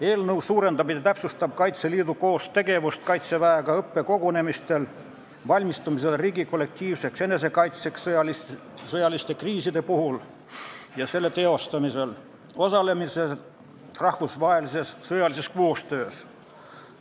Eelnõu eesmärk on täpsustada Kaitseliidu ja Kaitseväe koostegevust õppekogunemistel, valmistumisel riigi kollektiivseks enesekaitseks sõjaliste kriiside puhul ja selle teostamisel ning osalemisel rahvusvahelises sõjalises koostöös.